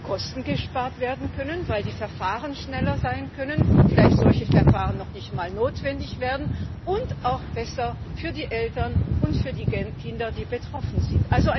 Kosten gespart werden, weil die Verfahren schneller sein können, vielleicht solche Verfahren noch nicht mal notwendig werden, und auch besser für die Eltern und für die betroffenen Kinder sind.